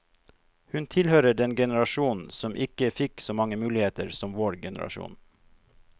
Hun tilhører den generasjon som ikke fikk så mange muligheter som vår generasjon.